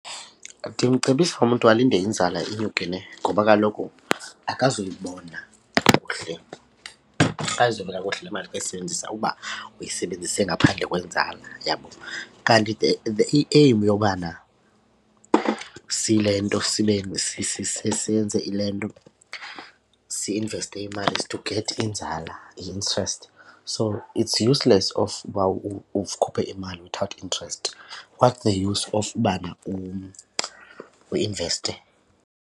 Ndimcebisa umntu alinde inzala inyukile nhe, ngoba kaloku akazuyibona kakuhle, akazuyibona kakuhle le mali xa eyisebenzisa uba uyisebenzise ngaphandle kwenzala, yabo. Kanti the the i-aim yobana sile nto senze ile nto si-investe imali is to get inzala, i-interest, so it's useless of uba ukhuphe imali without interest. What's use of ubana uinveste?